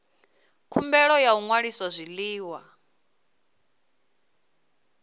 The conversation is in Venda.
khumbelo ya u ṅwalisa zwiḽiwa